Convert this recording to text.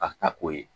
A ka k'o ye